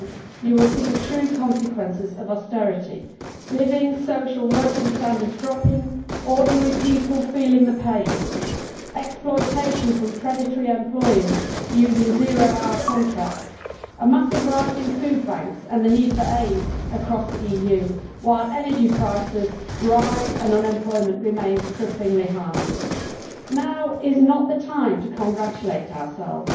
you will see the true consequences of austerity living, social and working standards dropping ordinary people feeling the pain exploitation by predatory employers using zero hour contracts a massive rise in food banks and the need for aid across the EU, while energy prices rise and unemployment remains cripplingly high. Now is not the time to congratulate ourselves.